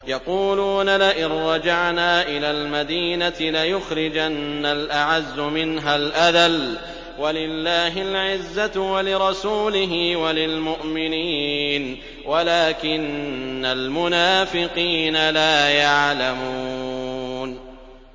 يَقُولُونَ لَئِن رَّجَعْنَا إِلَى الْمَدِينَةِ لَيُخْرِجَنَّ الْأَعَزُّ مِنْهَا الْأَذَلَّ ۚ وَلِلَّهِ الْعِزَّةُ وَلِرَسُولِهِ وَلِلْمُؤْمِنِينَ وَلَٰكِنَّ الْمُنَافِقِينَ لَا يَعْلَمُونَ